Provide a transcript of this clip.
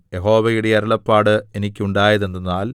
യഹോവയുടെ അരുളപ്പാട് എനിക്കുണ്ടായതെന്തെന്നാൽ